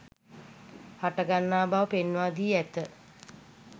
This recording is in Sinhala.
හටගන්නා බව පෙන්වා දී ඇත